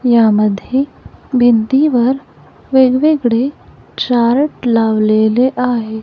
यामध्ये भिंतीवर वेगवेगळे चार्ट लावलेले आहेत.